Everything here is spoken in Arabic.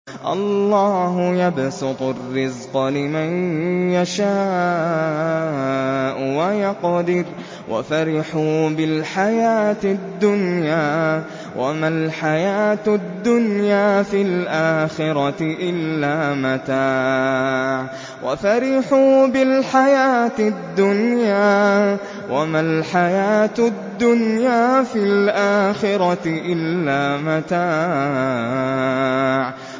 اللَّهُ يَبْسُطُ الرِّزْقَ لِمَن يَشَاءُ وَيَقْدِرُ ۚ وَفَرِحُوا بِالْحَيَاةِ الدُّنْيَا وَمَا الْحَيَاةُ الدُّنْيَا فِي الْآخِرَةِ إِلَّا مَتَاعٌ